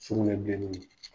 Sugunɛ bilenni